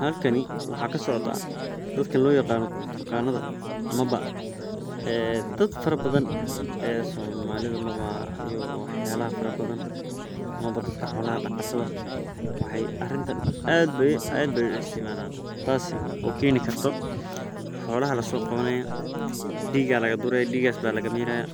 Halkani waxa kasocda dadka lo yaqano turkanadha waxee dadka aad ayey isticmalan xolaha diga aya laga miraya